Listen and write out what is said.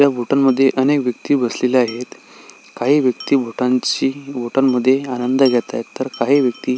ह्या हॉटेल मध्ये अनेक व्यक्ति बसलेल्या आहेत काही व्यक्ति हॉटेल च्या हॉटेल मध्ये आराम जाग्यात आहेत तर काही व्यक्ति--